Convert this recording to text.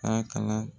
A kalan